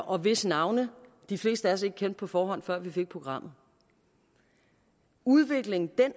og hvis navne de fleste af os ikke kendte på forhånd før vi fik programmet udviklingen